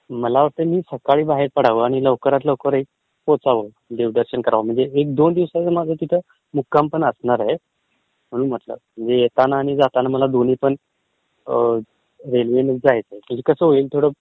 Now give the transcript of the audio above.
मला वाटतं मी सकाळी बाहेर पडाव आणि लवकरात लवकर पोचाव आणि देवदर्शन करावं म्हणजे दोन दिवस माझा तिथे मुक्कामपण असणारे म्हणून म्हटलं, म्हणजे येताना जाताना मला दोन्ही पण रेल्वेनेच जायचयं म्हणजे कसं होईल